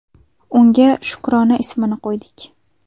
Unga Shukrona ismini qo‘ydik.